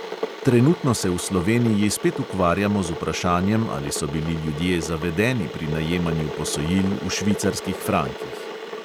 Trenutno se v sloveniji spet ukvarjamo z vprašanjem, ali so bili ljudje zavedeni pri najemanju posojil v švicarskih frankih.